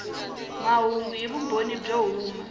mahungu hi vumbhoni byo huma